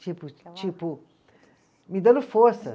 Tipo, tipo, me dando força.